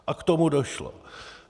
A k tomu došlo.